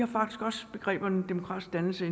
faktisk også begrebet demokratisk dannelse